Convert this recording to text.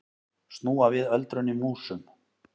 Snúa við öldrun í músum